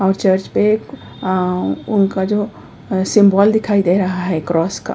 और चर्च पर उनका जो सिंबल दिखाई दे रहा है। क्रॉस का --